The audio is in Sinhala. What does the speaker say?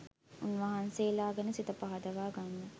උන්වහන්සේලා ගැන සිත පහදවා ගන්න